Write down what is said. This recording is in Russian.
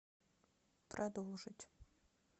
продолжить